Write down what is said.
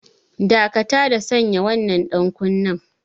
Dakata da sanya wannan ɗankunnen!